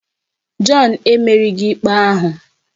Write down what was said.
John emerighị ikpe ahụ